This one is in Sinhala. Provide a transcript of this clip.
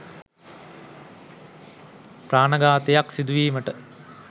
ප්‍රාණඝාතයක් සිදුවීමට